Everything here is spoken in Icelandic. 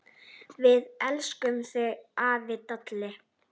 Við elskum þig, afi Dalli.